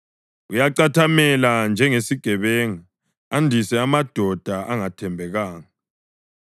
Uyacathamela njengesigebenga, andise amadoda angathembekanga.